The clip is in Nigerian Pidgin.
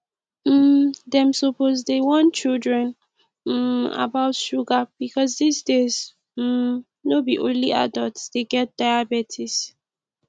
um dem suppose dey warn children um about sugar because dis days um no be only adult dey get diabetes